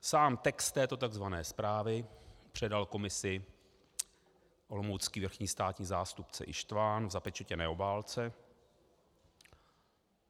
Sám text této tzv. zprávy předal komisi olomoucký vrchní státní zástupce Ištvan v zapečetěné obálce.